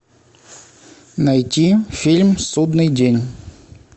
найти фильм судный день